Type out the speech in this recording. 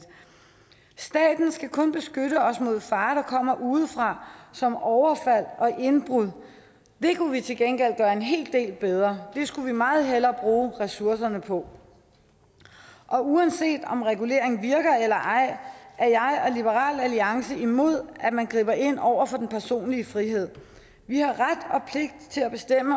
staten skal kun beskytte os mod farer der kommer udefra som overfald og indbrud det kunne vi til gengæld gøre en hel del bedre det skulle vi meget hellere bruge ressourcerne på uanset om regulering virker eller ej er jeg og liberal alliance imod at man griber ind over for den personlige frihed vi har ret